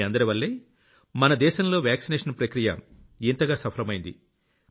మీ అందరివల్లే మన దేశంలో వాక్సినేషన్ ప్రక్రియ ఇంతగా సఫలమయ్యింది